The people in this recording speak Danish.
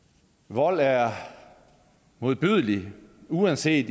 vold er modbydelig uanset